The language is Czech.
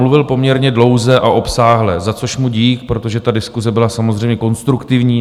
Mluvil poměrně dlouze a obsáhle, za což mu dík, protože ta diskuse byla samozřejmě konstruktivní.